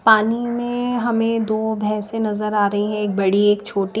पानी में हमें दो भैंसे नजर आ रही हैं एक बड़ी एक छोटी।